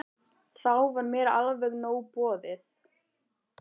Þá var mér alveg nóg boðið.